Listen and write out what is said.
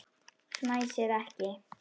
Fnæsir ekki.